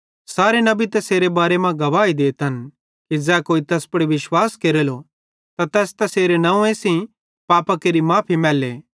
सारे नबी तैसेरे बारे मां गवाही देतन कि ज़ै कोई तैस पुड़ विश्वास केरलो त तैस तैसेरे नंव्वे सेइं पापां केरि माफ़ी मैले